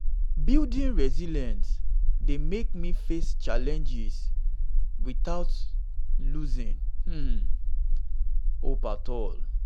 building resilience dey help me face challenges without losing um hope at all.